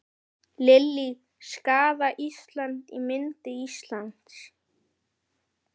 Lillý: Skaðað Ísland, ímynd Íslands?